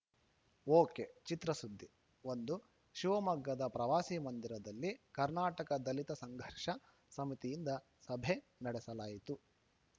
ಒಕೆಚಿತ್ರಸುದ್ದಿ ಒಂದು ಶಿವಮೊಗ್ಗದ ಪ್ರವಾಸಿ ಮಂದಿರದಲ್ಲಿ ಕರ್ನಾಟಕ ದಲಿತ ಸಂಘರ್ಷ ಸಮಿತಿಯಿಂದ ಸಭೆ ನಡೆಸಲಾಯಿತು